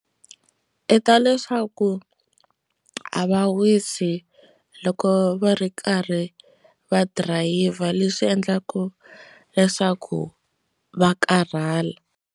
I ta leswaku a va wisi loko va ri karhi va dirayivha leswi endlaka leswaku va karhala.